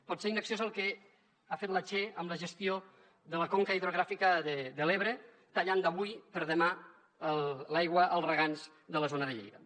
potser inacció és el que ha fet la che amb la gestió de la conca hidrogràfica de l’ebre tallant d’avui per a demà l’aigua als regants de la zona de lleida